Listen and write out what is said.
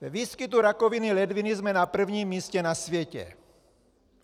Ve výskytu rakoviny ledviny jsme na první místě na světě!